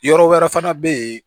Yɔrɔ wɛrɛ fana bɛ yen